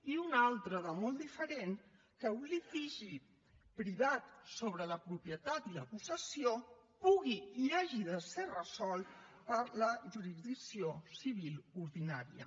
i una altra de molt diferent que un litigi privat sobre la propietat i la possessió pugui i hagi de ser resolt per la jurisdicció civil ordinària